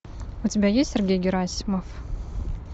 у тебя есть сергей герасимов